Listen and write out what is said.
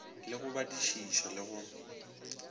le go badišiša le go